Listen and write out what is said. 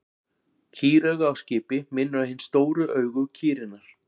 Kýrauga á skipi minnir á hin stóru augu kýrinnar.